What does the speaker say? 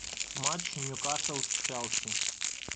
матч ньюкасл с челси